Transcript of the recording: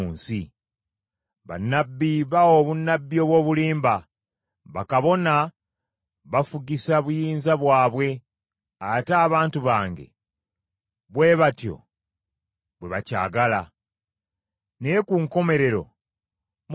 Bannabbi bawa obunnabbi obw’obulimba, bakabona bafugisa buyinza bwabwe ate abantu bange bwe batyo bwe bakyagala. Naye ku nkomerero munaakola mutya?”